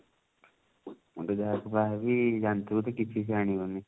ମୁଁ ତ ଯାହାକୁ ବାହା ହେବି ଜାଣିଥିବୁ ତ କିଛି ସେ ଆଣିବନି